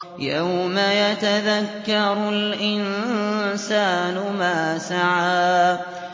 يَوْمَ يَتَذَكَّرُ الْإِنسَانُ مَا سَعَىٰ